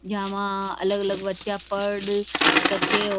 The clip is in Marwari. यहाँ वह अलग अलग बच्चा पढ़ सके --